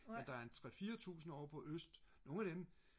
men der er en tre fire tusinde over på øst nogen af dem